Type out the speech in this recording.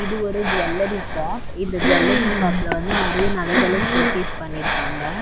இது ஒரு jewellery shop இந்த ஜுவல்லரி ஷாப்ல வந்து நெறைய நகைகள ஷோகேஸ் பண்ணிருக்காங்க.